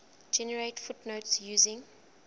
generate footnotes using